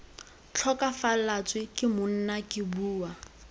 tlhokafalatswe ke monna ke bua